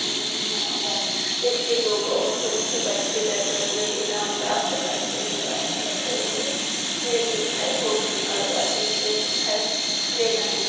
Image में यहाँ पर इस्ट लोगो और कुछ बच्चे बैठे हुए इनाम प्राप्त करते हुए आदमी रखे हुए दिखाई फोटो निकलवाते हुए दिखाई दे रहे है।